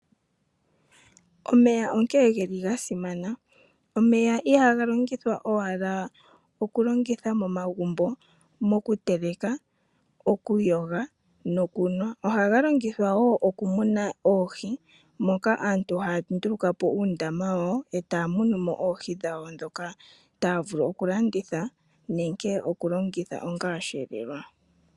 Omeya onkene geli ga simana. Omeya ihaga longithwa owala okulongitha momagumbo mokuteleka, okuyoga nokunwa, ohaga longithwa wo okumuna oohi moka aantu haya nduluka po uundama wawo, e taya munu mo oohi dhawo ndhoka taya vulu okulanditha nenge okulongitha onga osheelelwa.